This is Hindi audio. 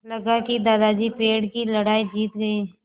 लगा कि दादाजी पेड़ की लड़ाई जीत गए